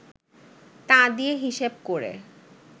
তা দিয়ে হিসেব করে